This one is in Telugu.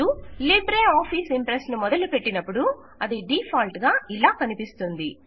మీరు లిబ్రే ఆఫీస్ ఇంప్రెస్ ను మొదలుపెట్టినపుడు అది డీఫాల్ట్ గా ఇలా కనిపిస్తుంది